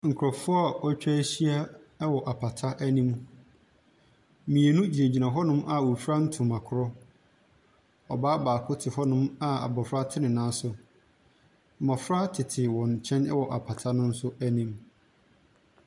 Nkurɔfoɔ a wɔatwa ahyia wɔ apata anim. Mmienu gyinagyina hɔnom a wɔfira ntoma korɔ. Ɔbaa baako te hɔnom a abɔfra te ne nan so. Mmɔfra tete wɔn nkyɛn wɔ apata no nso anim.